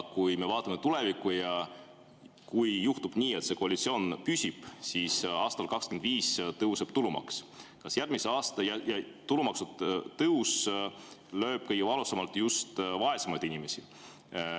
Kui me vaatame tulevikku ja kui juhtub nii, et see koalitsioon püsib, siis aastal 2025 tõuseb tulumaks ja tulumaksu tõus lööb kõige valusamalt just vaesemaid inimesi.